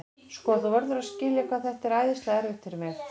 Sko, þú verður að skilja hvað þetta er æðislega erfitt fyrir mig.